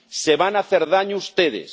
Se van a hacer daño ustedes.